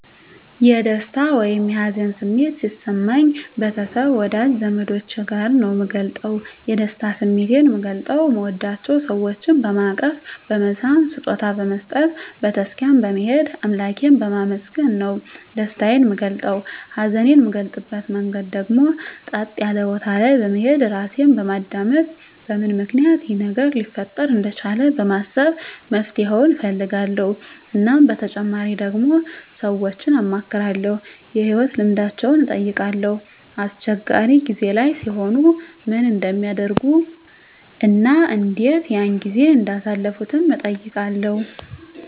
የደስታ ወይም የሀዘን ስሜት ሲሰማኝ ቤተሰብ ወዳጅ ዘመዶቸ ጋር ነዉ ምገልፀዉ የደስታ ስሜቴን ምገልፀዉ ምወዳቸዉ ሰወችን በማቀፍ በመሳም ስጦታ በመስጠት ቤተ ክርስትያን በመሄድ አምላኬን በማመስገን ነዉ ደስታየን ምገልፀዉ ሀዘኔን ምገልፅበት መንገድ ደግሞ ፀጥ ያለ ቦታ በመሄድ ራሴን በማዳመጥ በምን ምክንያት ይሄ ነገር ሊፈጠር እንደቻለ በማሰብ መፍትሄዉን እፈልጋለዉ እናም በተጨማሪ ደግሞ ሰወችን አማክራለዉ የህይወት ልምዳቸዉን እጠይቃለዉ አስቸጋሪ ጊዜ ላይ ሲሆኑ ምን እንደሚያደርጉ እና እንዴት ያን ጊዜ እንዳሳለፉትም እጠይቃለዉ